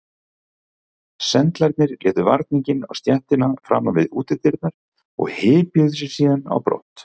Sendlarnir létu varninginn á stéttina framan við útidyrnar og hypjuðu sig síðan á brott.